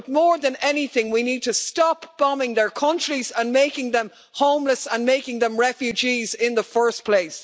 But more than anything we need to stop bombing their countries and making them homeless and making them refugees in the first place.